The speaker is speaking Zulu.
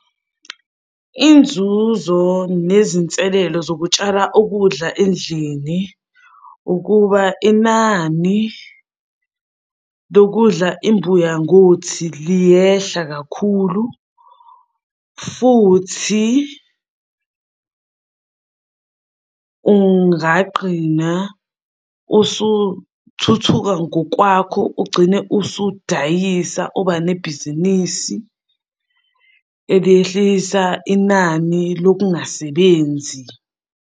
Inzuzo nezinselelo zokutshala ukudla endlini ukuba inani lokudla imbuya ngothi liyehla kakhulu, futhi ungaqqina usuthuthu ngokwakho ugcine usudayisa uba nebhizinisi eliyehlisa inani lokungasebenzi.